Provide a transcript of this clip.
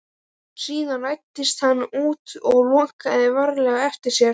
Síðan læddist hann út og lokaði varlega á eftir sér.